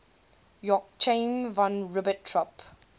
joachim von ribbentrop